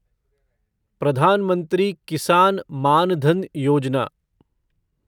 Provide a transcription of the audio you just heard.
Pradhan Mantri Kisan Maan Dhan Yojana